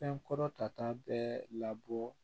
Fɛn kɔrɔ tata bɛ labɔ